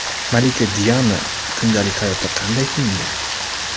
Malika Diana kundalik hayotda qanday kiyingan?